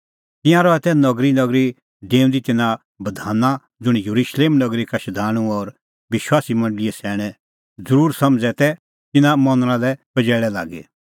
तिंयां रहा तै नगरीनगरी डेऊंदी तिन्नां बधाना ज़ुंण येरुशलेम नगरी का शधाणूं और विश्वासी मंडल़ीए सैणैं ज़रूरी समझ़ै तै तिन्नां मनणा लै पजैल़ै लागी